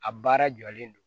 A baara jɔlen don